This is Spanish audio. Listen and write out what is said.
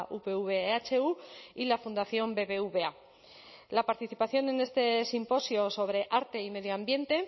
upv ehu y la fundación bbva la participación en este simposio sobre arte y medio ambiente